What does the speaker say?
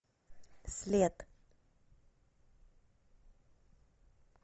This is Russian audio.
след